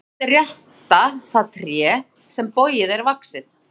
Bágt er rétta það tré sem bogið er vaxið.